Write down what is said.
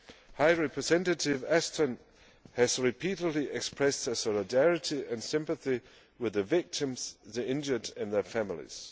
High Representative Ashton has repeatedly expressed her solidarity and sympathy with the victims, the injured and their families.